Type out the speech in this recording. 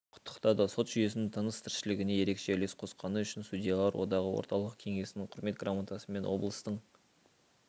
құттықтады сот жүйесінің тыныс-тіршілігіне ерекше үлес қосқаны үшін судьялар одағы орталық кеңесінің құрмет грамотасымен облыстың